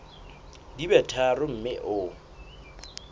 di be tharo mme o